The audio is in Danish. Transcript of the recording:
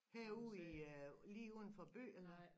Herude i øh lige uden for by eller hvad